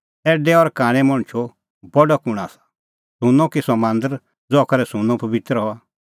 ऐडै और कांणै मणछो बडअ कुंण आसा सुंन्नअ कि सह मांदर ज़हा करै सुंन्नअ पबित्र हआ